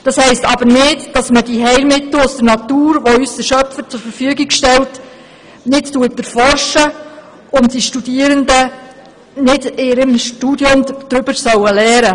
Das heisst aber nicht, dass man die Heilmittel aus der Natur, die uns der Schöpfer zur Verfügung stellt, nicht auch erforscht und die Studierenden nicht in ihrem Studium auch darüber lernen sollen.